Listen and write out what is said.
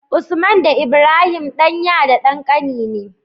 Usman da Ibrahim ɗan ya da ɗan kani ne